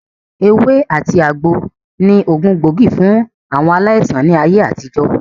Ewé àti àgbo ni ògùn gbóògì fún àwọn aláìsàn ní ayé àtijọ́